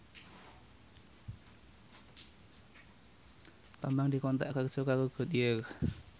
Bambang dikontrak kerja karo Goodyear